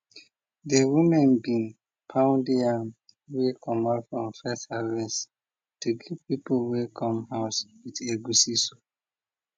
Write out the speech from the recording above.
de women bin pound yam wey comot from first harvest to give people wey come house with egwusi soup